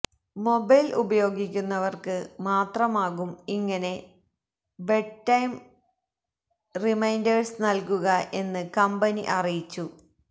mobile ഉപയോഗിക്കുന്നവർക്ക് മാത്രമാകും ഇങ്ങനെ ബെഡ്റ്റൈം റിമൈന്റേഴ്സ് നൽകുക എന്ന് കമ്പനി അറിയിച്ചു